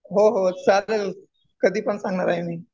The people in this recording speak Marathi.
हो हो चालेल. कधी पण सांगणार आहे मी.